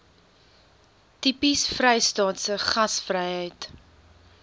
tipies vrystaatse gasvryheid